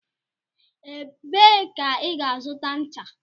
Ebee ka ị ga-azụta ncha?